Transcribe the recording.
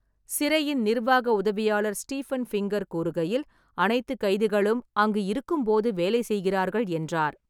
சிறையின் நிர்வாக உதவியாளர் Stephen Finger கூறுகையில், அனைத்து கைதிகளும் அங்கு இருக்கும்போது வேலை செய்கிறார்கள் என்றார்.